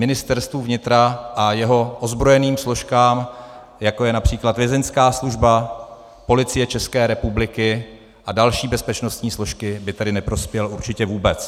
Ministerstvu vnitra a jeho ozbrojeným složkám, jako je například Vězeňská služba, Policie České republiky a další bezpečnostní složky, by tedy neprospěl určitě vůbec.